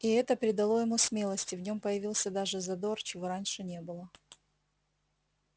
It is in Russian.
и это придало ему смелости в нём появился даже задор чего раньше не было